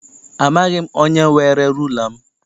Amaghị m onye were rula m.